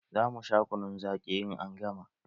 Za mu sha kunun zaƙi, in an gama.